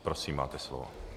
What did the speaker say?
Prosím, máte slovo.